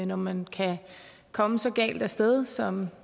når man kan komme så galt af sted som